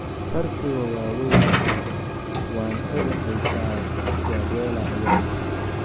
"Farqiga waa weyn yahay, waan ogahay taas," Guardiola ayaa yiri."